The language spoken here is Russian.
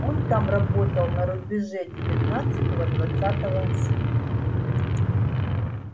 он там работал на рубеже девятнадцатого-двадцатого с